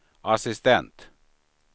assistent